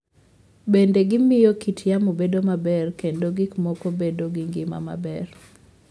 Bende, gimiyo kit yamo bedo maber kendo gik moko bedo gi ngima maber.